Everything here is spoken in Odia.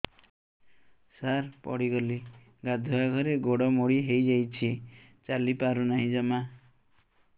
ସାର ପଡ଼ିଗଲି ଗାଧୁଆଘରେ ଗୋଡ ମୋଡି ହେଇଯାଇଛି ଚାଲିପାରୁ ନାହିଁ ଜମା